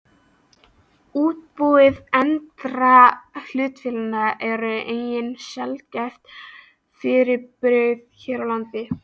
Útibú erlendra hlutafélaga eru einnig sjaldgæft fyrirbrigði hér á landi.